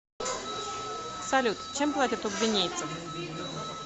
салют чем платят у гвинейцев